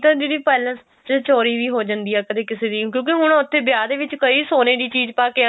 ਤਾਂ ਦੀਦੀ ਪੈਲੇਸ ਚ ਚੋਰੀ ਵੀ ਹੋ ਜਾਂਦੀ ਹੈ ਕਦੇ ਕਿਸੀ ਦੀ ਕਿਉਂਕਿ ਹੁਣ ਉੱਥੇ ਵਿਆਹ ਦੇ ਵਿੱਚ ਕਈ ਸੋਨੇ ਦੀ ਚੀਜ ਪਾਕੇ